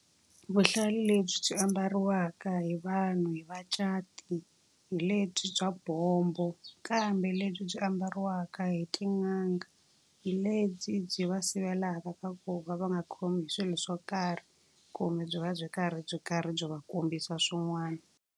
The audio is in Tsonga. Vuhlalu lebyi byi ambariwaka hi vanhu hi vacati hi lebyi bya bombo. Kambe lebyi byi ambariwaka hi tin'anga lebyi byi va sivelaka ka ku va va nga khomi hi swilo swo karhi, kumbe byi va byi karhi byi karhi byi va kombisa swin'wana.